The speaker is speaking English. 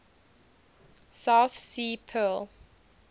south sea pearl